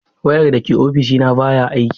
Wayar da ke ofishina baya aiki.